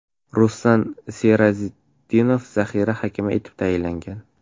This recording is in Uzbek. Ruslan Serazitdinov zaxira hakami etib tayinlangan.